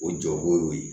O jɔ ko y'o ye